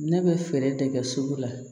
Ne bɛ fɛɛrɛ de kɛ sugu la